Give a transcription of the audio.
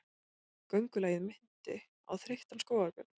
Göngulagið minnti á þreyttan skógarbjörn.